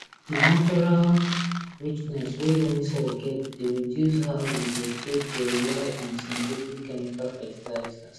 di natural richness wey loamy soil get dey reduce how we dey take dey rely on synthetic chemical fetilizers